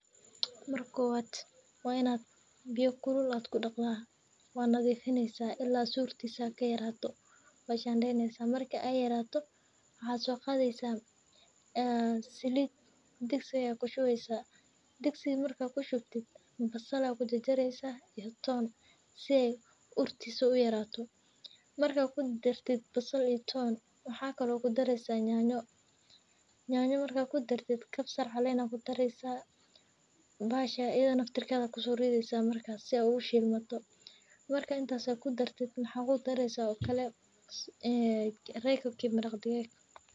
Waa in biyaha kulul lagu daqo, si ay u surto oo u yaraato. Waa la shidaneeyaa, waxa la sii dhigaa saliid digsi ku shuban, basasha iyo toonta waa la jarjaraa si urto u yaraato. Waxa kale oo lagu daraa yaanyo, kaabsar calen, kadib nafteda ayaa lagu daraa si ay u shiilmato. Waxa lagu daraa Royco cube maraq digaag.